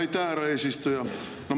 Aitäh, härra eesistuja!